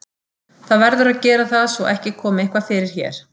Það verður að gera það svo ekki komi eitthvað fyrir hér.